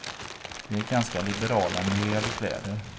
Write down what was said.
Vi är ganska liberala när det gäller kläder.